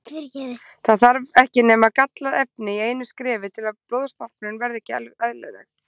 Það þarf ekki nema gallað efni í einu skrefi til að blóðstorknun verði ekki eðlileg.